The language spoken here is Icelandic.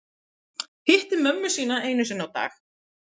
Hitta mömmuna einu sinni á dag